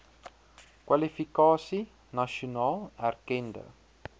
kwalifikasie nasionaal erkende